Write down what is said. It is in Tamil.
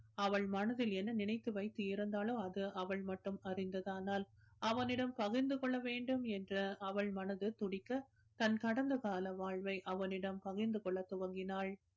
அவள் மனதில் என்ன நினைத்து வைத்து இருந்தாளோ அது அவள் மட்டும் அறிந்ததானால் அவனிடம் பகிர்ந்து கொள்ள வேண்டும் என்ற அவள் மனசு துடிக்க தன் கடந்த கால வாழ்வை அவனிடம் பகிர்ந்து கொள்ளத் துவங்கினாள்